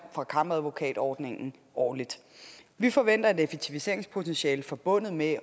fra kammeradvokatordningen årligt vi forventer at et effektiviseringspotentiale forbundet med